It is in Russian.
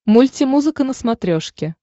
мультимузыка на смотрешке